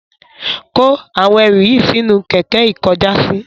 Kó àwọn ẹrú yín sínú kẹkẹ ikọjàsí